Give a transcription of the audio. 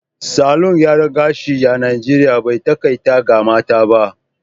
Salon gyaran gashi a Najeriya bai takaita ga mata ba